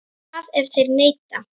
En hvað ef þeir neita?